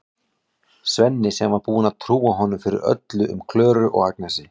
Svenni sem var búinn að trúa honum fyrir öllu um Klöru og Agnesi.